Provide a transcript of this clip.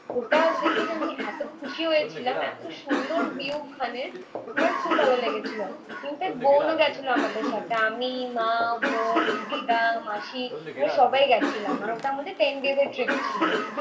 ওটা দেখে যে আমি এতো খুশি হয়েছিলাম এতো সুন্দর view ওখানে। আমার খুব ভালো লেগেছিলো in fact বোনও গেছিলো আমাদের সাথে। আমি, মা, বোন, দিদা, মাসি আমরা সবাই গেছিলাম। মানে ওটা আমাদের ten days এর trip ছিল.